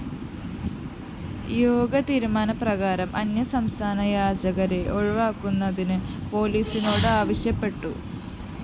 യോഗ തീരുമാന പ്രകാരം അന്യസംസ്ഥാന യാചകരെ ഒഴിവാക്കുന്നതിന് പോലീസിനോട് ആവശ്യപ്പെട്ടു